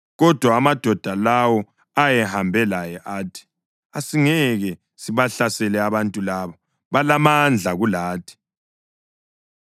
Kodwa amadoda lawo ayehambe laye athi, “Asingeke sibahlasele abantu labo; balamandla kulathi.”